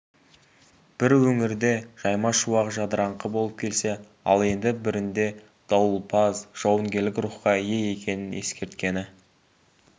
бір өңірде жаймашуақ жадыраңқы болып келсе ал енді бірінде дауылпаз жауынгерлік рухқа ие екенін ескерткені